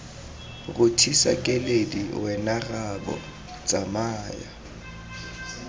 rothisa keledi wena rraabo tsamaya